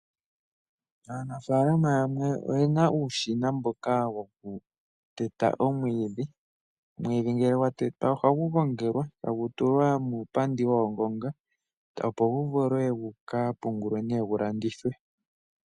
Aanafaalama yamwe oyena uushina mboka woku teta omwiidhi. Omwiidhi ngele gwa tetwa ohagu gongelwa tagu tulwa muupandi woongonga, opo gu vule guka pungulwe nee gu landithwe.